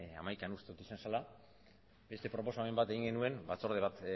hamaikan uste dut izan zela beste proposamen bat egin genuen batzorde bat